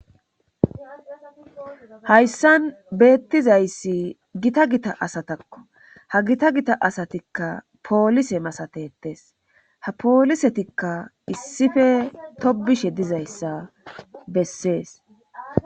hayssan beettizayssi gita gita asatakko ha gita gita asatikka poolise masatetes ha poolisetikka issife tobishe dizayssa bessees